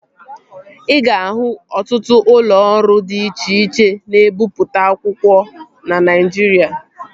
Ị ga-ahụ ọtụtụ ụlọ ọrụ dị iche iche na-ebipụta akwụkwọ na Naijiria